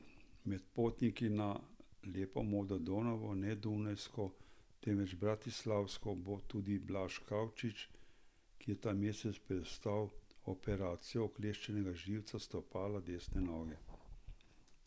Med potniki na lepo modro Donavo, ne dunajsko, temveč bratislavsko, bo tudi Blaž Kavčič, ki je ta mesec prestal operacijo ukleščenega živca stopala desne noge.